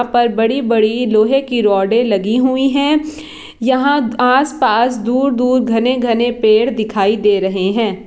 --हा पर बड़ी - बड़ी लोहे की रोड़े लगी हुई है यहाँ आस - पास दूर - दूर घने - घने पेड़ दिखाई दे रहे है।